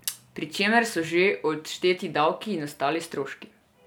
Pri čemer so že odšteti davki in ostali stroški ...